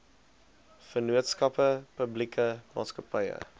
vennootskappe publieke maatskappye